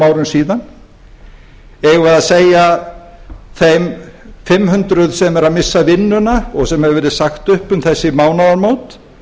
árum síðan eigum við að segja þeim fimm hundruð sem eru að missa vinnuna og sem hefur verið sagt upp um þessi mánaðamót